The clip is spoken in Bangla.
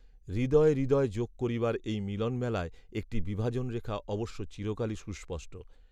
হৃদয়ে হৃদয় যোগ করিবার এই মিলনমেলায় একটি বিভাজনরেখা অবশ্য চিরকালই সুস্পষ্ট